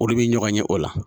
Olu bi ɲɔgɔn ye o la.